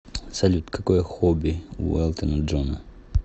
салют какое хобби у элтона джона